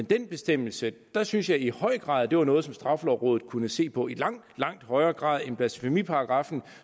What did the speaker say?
den bestemmelse synes jeg i høj grad at det var noget som straffelovrådet kunne se på i langt langt højere grad end blasfemiparagraffen